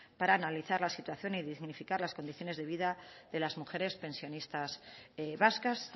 para analizar la situación y dignificar las condiciones de vida de las mujeres pensionistas vascas